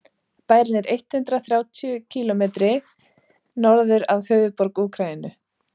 bærinn er eitt hundruð þrjátíu kílómetri norður af höfuðborg úkraínu